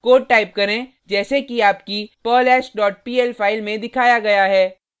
code type करें जैसे कि आपकी perlhash dot pl फाइल में दिखाया गया है